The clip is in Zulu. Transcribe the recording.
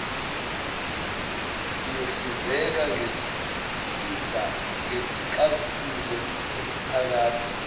siyohlinzeka ngesixazululo esiphakade